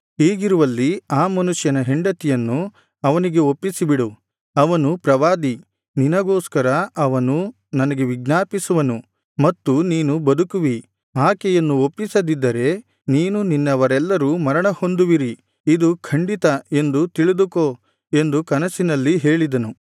ಹೀಗಿರುವಲ್ಲಿ ಆ ಮನುಷ್ಯನ ಹೆಂಡತಿಯನ್ನು ಅವನಿಗೆ ಒಪ್ಪಿಸಿಬಿಡು ಅವನು ಪ್ರವಾದಿ ನಿನಗೋಸ್ಕರ ಅವನು ನನಗೆ ವಿಜ್ಞಾಪಿಸುವನು ಮತ್ತು ನೀನು ಬದುಕುವಿ ಆಕೆಯನ್ನು ಒಪ್ಪಿಸದಿದ್ದರೆ ನೀನೂ ನಿನ್ನವರೆಲ್ಲರೂ ಮರಣಹೊಂದುವಿರಿ ಇದು ಖಂಡಿತ ಎಂದು ತಿಳಿದುಕೋ ಎಂದು ಕನಸಿನಲ್ಲಿ ಹೇಳಿದನು